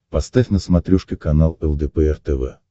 поставь на смотрешке канал лдпр тв